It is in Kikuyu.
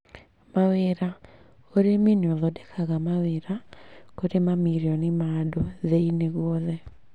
Mawĩra: ũrĩmi nĩ ũthondekaga mawĩra kũrĩ mamirioni ma andũ thĩ-inĩ guothe